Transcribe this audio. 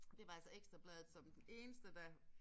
Det var altså Ekstra Bladet som den eneste der